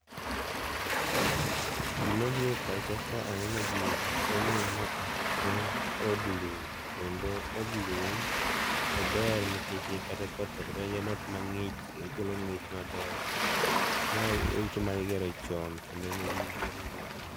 Gima biro e pacha ka aneno gini en ni maa, en od lum. Kendo od lum ober, nikech kata koth ok donj. En ot mang'ich. Okelo ng'ich maber. Mae en ute mane igero chon, kendo negi